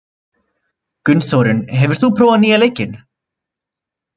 Gunnþórunn, hefur þú prófað nýja leikinn?